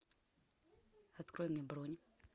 открой мне бронь